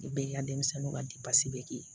I be yen ka denmisɛnninw ka bɛ kɛ yen